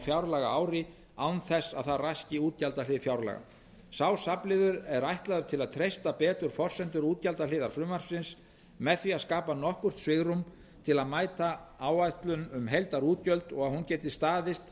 fjárlagaári án þess að það raski útgjaldahlið fjárlaga sá safnliður er ætlaður til að treysta betur forsendur útgjaldahliðar frumvarpsins með því að skapa nokkurt svigrúm til að mæta áætlun um heildarútgjöld og að hún geti staðist